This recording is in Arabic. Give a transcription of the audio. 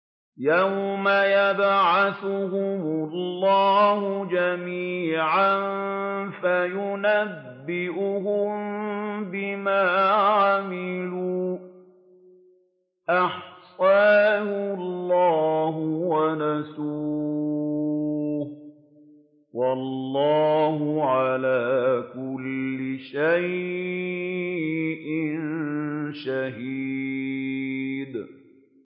يَوْمَ يَبْعَثُهُمُ اللَّهُ جَمِيعًا فَيُنَبِّئُهُم بِمَا عَمِلُوا ۚ أَحْصَاهُ اللَّهُ وَنَسُوهُ ۚ وَاللَّهُ عَلَىٰ كُلِّ شَيْءٍ شَهِيدٌ